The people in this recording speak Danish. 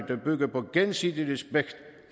der bygger på gensidig respekt